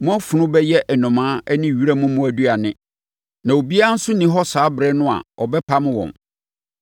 Mo afunu bɛyɛ nnomaa ne wiram mmoa aduane, na obiara nso nni hɔ saa ɛberɛ no a ɔbɛpam wɔn.